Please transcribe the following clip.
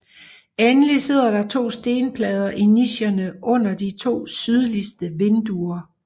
Endelig sidder der to stenplader i nicherne under de to sydligste vinduer